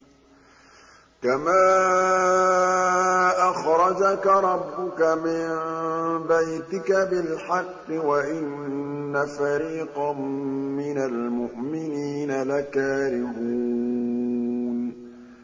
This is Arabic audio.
كَمَا أَخْرَجَكَ رَبُّكَ مِن بَيْتِكَ بِالْحَقِّ وَإِنَّ فَرِيقًا مِّنَ الْمُؤْمِنِينَ لَكَارِهُونَ